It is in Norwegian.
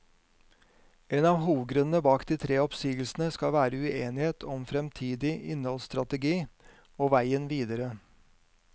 En av hovedgrunnene bak de tre oppsigelsene skal være uenighet om fremtidig innholdsstrategi og veien videre.